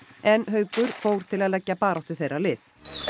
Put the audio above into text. en Haukur fór til að leggja baráttu þeirra lið